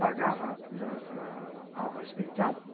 Pagava a a Álvares Penteado